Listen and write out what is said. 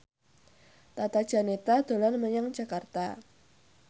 Tata Janeta dolan menyang Jakarta